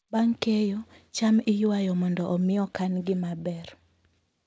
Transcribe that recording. Bang' keyo, cham iywayo mondo omi okan-gi maber.